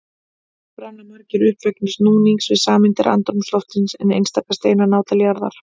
Þar brenna margir upp vegna núnings við sameindir andrúmsloftsins en einstaka steinar ná til jarðar.